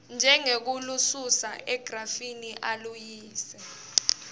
njengekulususa egrafini aluyise